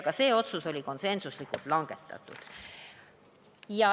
Ka see otsus langetati konsensuslikult.